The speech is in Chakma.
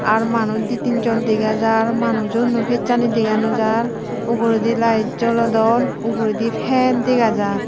ar manuj di tinjon dega jar manujuno fecchani dega no jar uguredin light jolodon uguredi fen dega jar.